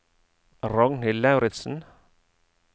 Ragnhild Lauritzen